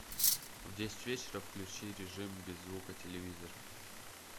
в десять вечера включи режим без звука телевизор